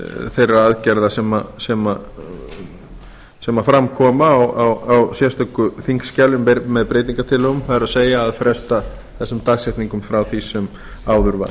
þeirra aðgerða sem fram koma á sérstöku þingskjali með breytingartillögum á að fresta þessum dagsetningum frá því sem áður var